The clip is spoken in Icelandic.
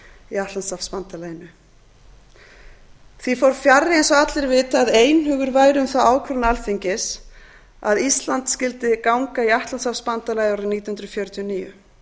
í atlantshafsbandalaginu því fór fjarri eins og allir vita að einhugur væri um þá ákvörðun alþingis að íslandi skyldi ganga í atlantshafsbandalagið árið nítján hundruð fjörutíu og níu